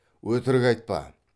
өтірік айтпа